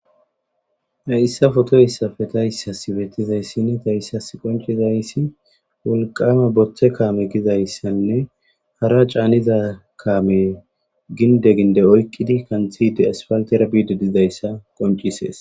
Tayissa fotoyissafe ta yssasi bettizayssinni ta issas qoncizayssi wolqama boththe kaame gizayssanne hara caaniza kaame ginde ginde oyqqidi kanthide asfaltera biide dizayssa qoncisees.